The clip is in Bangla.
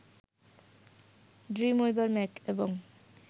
ড্রিমউইভার ম্যাক এবং